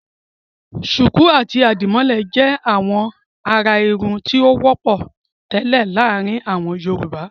Ṣùkú àti àdìmọ́lẹ̀ jẹ́ àwọn àrà-irun tó wọ́pọ̀ tẹ́lẹ̀ láàárin àwọn Yorùbá.